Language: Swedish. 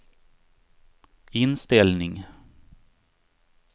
inställning